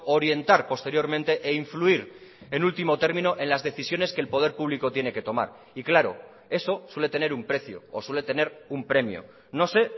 orientar posteriormente e influir en último término en las decisiones que el poder público tiene que tomar y claro eso suele tener un precio o suele tener un premio no sé